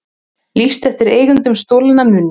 Lýst eftir eigendum stolinna muna